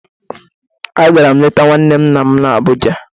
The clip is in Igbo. Agara m leta nwanne nna m na Abuja